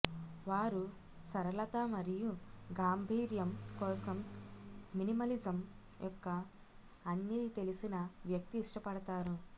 వారు సరళత మరియు గాంభీర్యం కోసం మినిమలిజం యొక్క అన్నీ తెలిసిన వ్యక్తి ఇష్టపడతారు